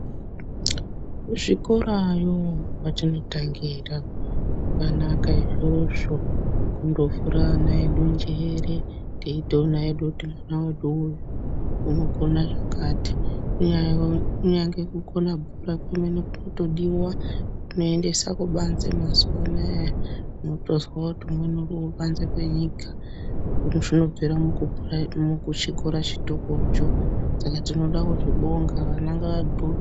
Kuzvikorayo kwatinotangira zvakanaka izvozvo kundovhura ana edu njere. Teitoona hedu kuti mwana vedu uyu unokona zvakati. Kunyangwe kukona bhuku rako kwemene kunotodiva kuendese kubanze mazuva anaya. Unotozwa kuti umweni uri kubanze kwenyika. Zvinobvira muchikora chitokocho saka tinoda kubonga vana ngavadhloke.